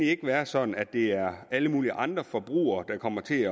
ikke være sådan at det er alle mulige andre forbrugere der kommer til